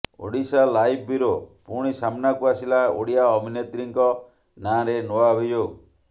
Odisha live bureau ପୁଣି ସାମ୍ନାକୁ ଆସିଲା ଓଡ଼ିଆ ଅଭିନେତ୍ରୀଙ୍କ ନାଁରେ ନୂଆ ଅଭିଯୋଗ